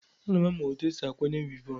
Aga m amụ otu esi akwanye wivọn.